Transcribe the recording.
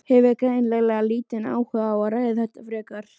Hefur greinilega lítinn áhuga á að ræða þetta frekar.